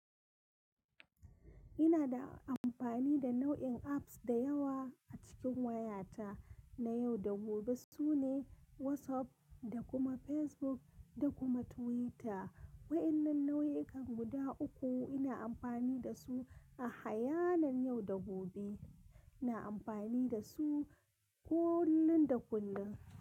Ina da amfani da nau'in apps da yawa a cikin wayata na yau da gobe. Su ne WhatsApp da kuma Facebook da kuma Twitter. Waɗannan nau'ikan guda uku ina amfani da su a hayanan yau da gobe. Ina amfani da su kullum da kullum.